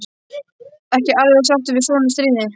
Ekki alveg sáttur við svona stríðni.